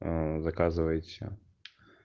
заказывайте